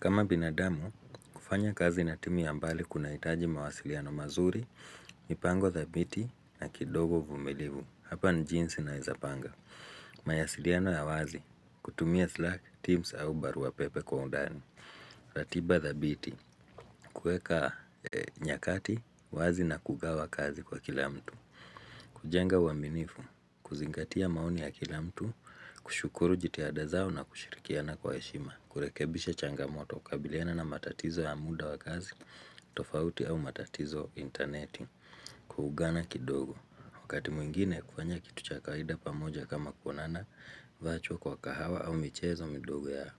Kama binadamu, kufanya kazi na timu ya mbali kuna hitaji mawasiliano mazuri, mipango thabiti na kidogo uvumilivu, hapa ni jinsi naeza panga. Mawasiliano ya wazi, kutumia slack, tims au barua pepe kwa undani. Ratiba thabiti, kueka nyakati, wazi na kugawa kazi kwa kila mtu. Kujenga uaminifu, kuzingatia maoni ya kila mtu, kushukuru jitihada zao na kushirikiana kwa heshima, kurekebisha changamoto kukabiliana na matatizo ya muda wa kazi, tofauti au matatizo interneti. Kuugana kidogo. Wakati mwingine kufanya kitu cha kawaida pamoja kama kuonana vacho kwa kahawa au michezo midogo ya